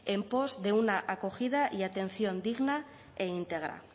en pos de una acogida y atención digna e íntegra